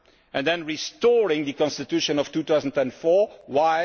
and then restoring the constitution of 2004. Why?